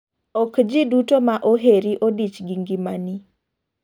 Ok ji duto ma oheri odich gi ng'ima ni